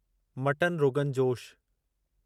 mutton rogan जोश